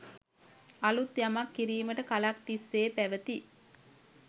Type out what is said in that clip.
අලුත් යමක්‌ කිරීමට කලක්‌ තිස්‌සේ පැවති